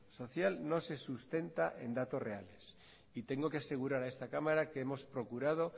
social no se sustenta en datos reales y tengo que asegurar a esta cámara que hemos procurado